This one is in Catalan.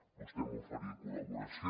vostè m’oferia col·laboració